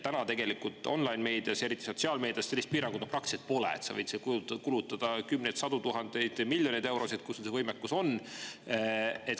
Täna online‑meedias, eriti sotsiaalmeedias, sellist piirangut praktiliselt pole, sa võid seal kulutada kümneid, sadu tuhandeid, miljoneid eurosid, kui sul see võimekus on.